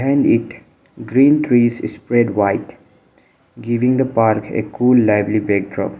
and it green trees spread wide giving the park a cool lively backdrop.